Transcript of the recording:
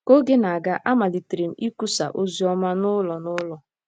Ka oge na-aga, amalitere m ịkwusa oziọma n'ụlọ n'ụlọ.